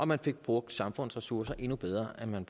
man fik brugt samfundets ressourcer endnu bedre end man